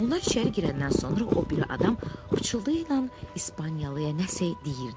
Onlar içəri girəndən sonra o biri adam pıçıltıyla İspaniyalıya nəsə deyirdi.